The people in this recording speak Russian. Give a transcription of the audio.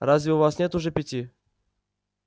разве у вас нет уже пяти